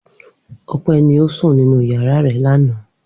Ope ni o sun ninu yara re lana.